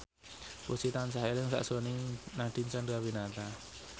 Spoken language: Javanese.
Puji tansah eling sakjroning Nadine Chandrawinata